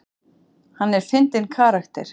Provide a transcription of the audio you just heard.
Hann er fyndinn karakter.